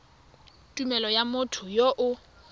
tumelelo ya motho yo o